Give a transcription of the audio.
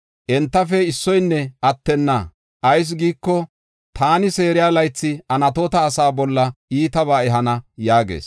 entafe issoynne attenna. Ayis giiko, taani seeriya laythi Anatoota asa bolla iitaba ehana” yaagees.